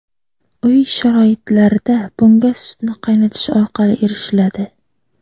Uy sharoitlarida bunga sutni qaynatish orqali erishiladi.